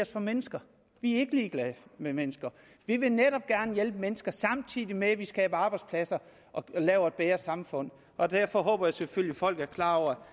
for mennesker vi er ikke ligeglade med mennesker vi vil netop gerne hjælpe mennesker samtidig med at vi skaber arbejdspladser og laver et bedre samfund og derfor håber jeg selvfølgelig at folk er klar over